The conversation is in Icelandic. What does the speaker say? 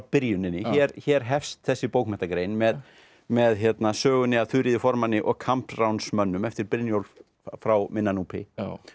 byrjuninni hér hefst þessi bókmenntagrein með með sögunni af Þuríði formanni og Kambsránsmönnum eftir Brynjólf frá minna Núpi